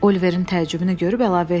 Oliverin təəccübünü görüb əlavə etdi.